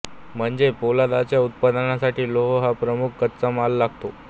म्हणजे पोलादाच्या उत्पादनासाठी लोह हा प्रमुख कच्चा माल लागतो